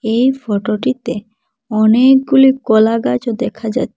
এই ফটোটিতে অনেকগুলি কলা গাছ দেখা যা--